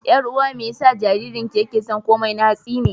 Ƴar'uwa me yasa jaririnki yake son komai na hatsi ne?